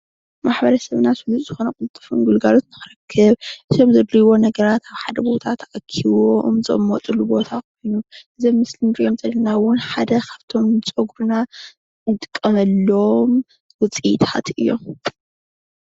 ማሕበረሰብና ስሉጥ ዝኮነ ቅልጥፉን ኣገልግሎት ንክረክብ ካብ ዘድልይዎ ነገራት ኣብ ሓደ ቦታ ተኣኪቦም ዝቅመጥሉ ቦታ ኮይኑ ዞም ምስሊ ንሪኦም ዘለና እዉን ሓደ ካብቶም ንፀጉርና ንጥቀመሎም ዉፅኢታት እዮም።